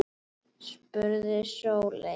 spurði Sóley